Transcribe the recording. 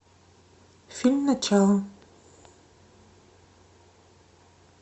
фильм начало